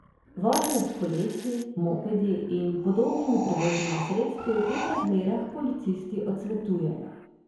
Vožnjo s kolesi, mopedi in podobnimi prevoznimi sredstvi v teh razmerah policisti odsvetujejo.